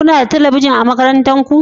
Kuna da talabijin a makarantar ku?